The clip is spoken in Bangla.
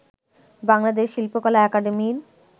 বাংলাদেশ শিল্পকলা একাডেমীর